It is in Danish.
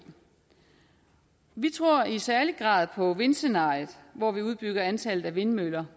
vi tror i særlig grad på vindscenariet hvor vi udbygger antallet af vindmøller